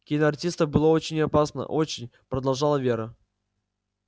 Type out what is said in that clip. киноартистом быть очень опасно очень продолжала вера